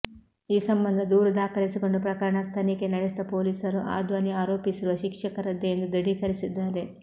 ಈ ಸಂಬಂಧ ದೂರು ದಾಖಲಿಸಿಕೊಂಡು ಪ್ರಕರಣ ತನಿಖೆ ನಡೆಸಿದ ಪೊಲೀಸರು ಆ ಧ್ವನಿ ಆರೋಪಿಸಿರುವ ಶಿಕ್ಷಕರದ್ದೇ ಎಂದು ದೃಢೀಕರಿಸಿದ್ದಾರೆ